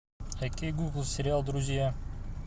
окей гугл сериал друзья